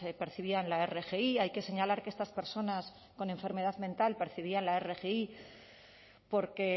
percibían la rgi hay que señalar que estas personas con enfermedad mental percibían la rgi porque